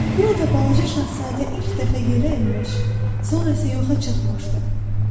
Burada balaca şahzadə ilk dəfə yerə enmiş, sonra isə yoxa çıxmışdı.